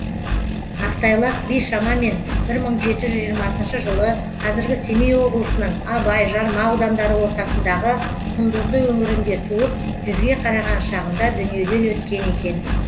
ақтайлақ би шамамен бір мың жеті жүз жиырмасыншы жылы қазіргі семей облысының абай жарма аудандары ортасындағы құндызды өңірінде туып жүзге қараған шағында дүниеден өткен екен